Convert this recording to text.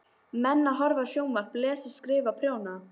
Menn að horfa á sjónvarp, lesa, skrifa, prjóna.